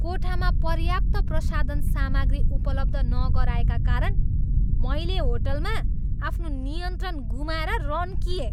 कोठामा पर्याप्त प्रसाधन सामग्री उपलब्ध नगराएका कारण मैले होटलमा आफ्नो नियन्त्रण गुमाएर रन्किएँ।